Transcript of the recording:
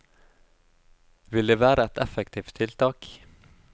Vil det være et effektivt tiltak?